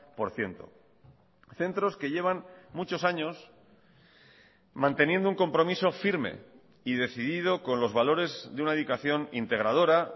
por ciento centros que llevan muchos años manteniendo un compromiso firme y decidido con los valores de una dedicación integradora